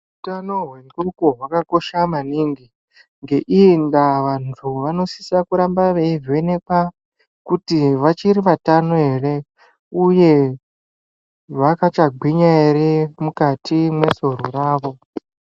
Hutano hwendxondo hwakakosha maningi. Ngeiyi ndaa vantu vanosise kuramba veivhenekwa kuti vachiri vatano here, uye vachakagwinya ere mukati mesoro ravo.